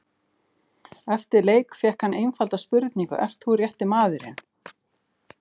Eftir leik fékk hann einfalda spurningu, ert þú rétti maðurinn?